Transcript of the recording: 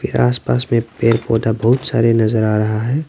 आसपास में पेड़ पौधा बहुत सारे नजर आ रहा है।